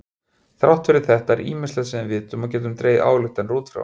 Þrátt fyrir þetta er ýmislegt sem vitum og getum dregið ályktanir út frá.